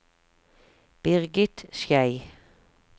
Birgit Schei